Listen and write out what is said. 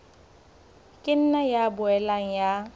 ka nna ya boela ya